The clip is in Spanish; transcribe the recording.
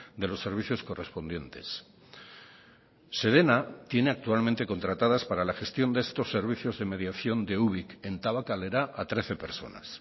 de los servicios correspondientes sedena tiene actualmente contratadas para la gestión de estos servicios de mediación de ubik en tabakalera a trece personas